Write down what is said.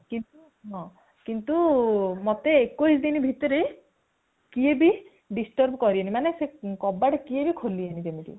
କିନ୍ତୁ ହଁ କିନ୍ତୁ ମତେ ଏକୋଇଶ ଦିନ ଭିତରେ କେହି ବି disturb କରିବେନି ମାନେ କବାଟ କେହି ବି ଖୋଲିବେନି ଯେମିତି